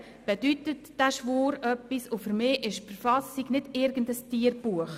Mir bedeutet dieser Schwur etwas und für mich ist die Verfassung nicht irgendein Tierbuch.